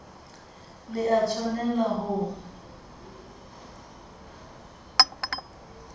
le a tshwanel a ho